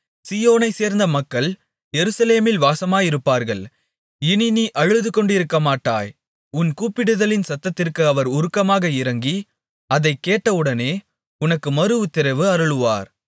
சீயோனைச் சேர்ந்த மக்கள் எருசலேமில் வாசமாயிருப்பார்கள் இனி நீ அழுதுகொண்டிருக்கமாட்டாய் உன் கூப்பிடுதலின் சத்தத்திற்கு அவர் உருக்கமாக இரங்கி அதைக் கேட்டவுடனே உனக்கு மறுஉத்திரவு அருளுவார்